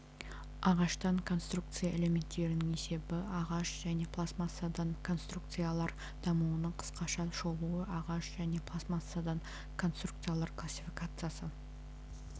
ағаштан конструкция элементтерінің есебі ағаш және пластмассадан конструкциялар дамуының қысқаша шолуы ағаш және пластмассадан конструкциялар классификациясы